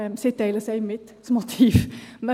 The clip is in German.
Sie teilen einem das Motiv mit.